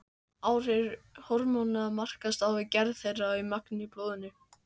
Áhrif hormóna markast af gerð þeirra og magni í blóðinu.